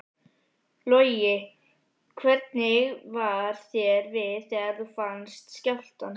Logi: Hvernig var þér við þegar þú fannst skjálftann?